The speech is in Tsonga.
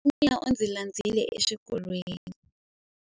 Nala wa mina u ndzi landzile exikolweni.